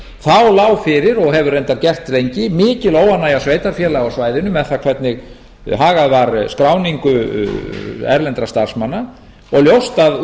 þá lá fyrir og hefur reyndar gert lengi mikil óánægja sveitarfélaga á svæðinu með það hvernig hagað var skráningu erlendra starfsmanna og ljóst að